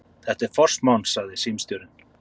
Þetta er forsmán, sagði símstjórinn.